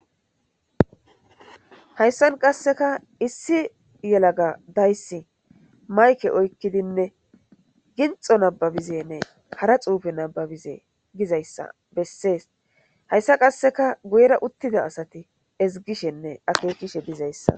Hayisan qasseka issi yelaga dayssi mayke oykkidinne ginxo nababizenne kara xuufe nababize gizayssa bessees hayssa qasseka guyera uttida asati ezigishenne akeekishe dizayssa